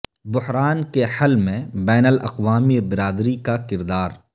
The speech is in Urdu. بحران کے حل میں بین الاقوامی برادری کا کردار